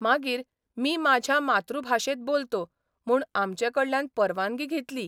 मागीर 'मी माझ्या मातृभाषेत बोलतो 'म्हूण आमचेकडल्यान परवानगी घेतली.